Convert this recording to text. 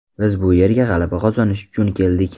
Biz bu yerga g‘alaba qozonish uchun keldik.